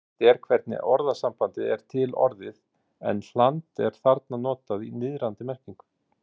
Óvíst er hvernig orðasambandið er til orðið en hland er þarna notað í niðrandi merkingu.